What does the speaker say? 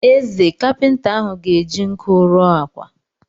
Eze, kapịnta ahụ ga eji nkụ ruo ákwà.